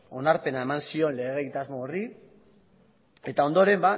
onarpena eman zion lege egitasmo horri eta ondoren